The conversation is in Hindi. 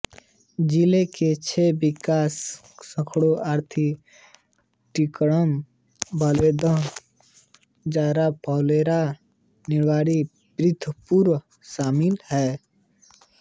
जिले के छह विकास खंडों अर्थात् टीकमगढ़ बल्देवगढ़ जतारा पलेरा निवाडी पृथ्वीपुर शामिल है